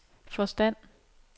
forstand